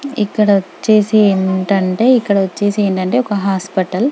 ఇక్కడ వచ్చేసి ఏంటంటే ఇక్కడ వచ్చేసి ఏంటంటే ఒక హాస్పిటల్ --